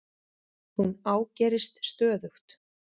Hún ágerist stöðugt.